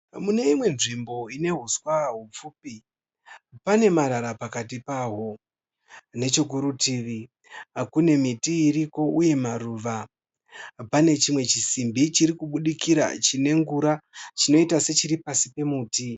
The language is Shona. Mune imwe nzvimbo ine huswa hupfupi, pane marara pakati pahwo. Nechekurutivi, kune miti iriko uye maruva. Pane chimwe chisinbi chirikubudikira chine ngura chinoita sechiri pasi pemuti.